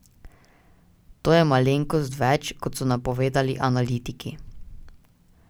To je malenkost več, kot so napovedovali analitiki.